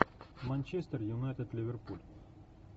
манчестер юнайтед ливерпуль